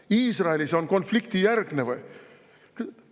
Kas Iisrael on konfliktijärgne või?